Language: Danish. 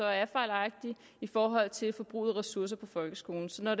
er fejlagtig i forhold til forbruget af ressourcer i folkeskolen så når